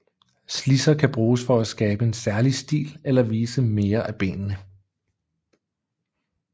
Slidser kan bruges for at skabe en særlig stil eller vise mere af benene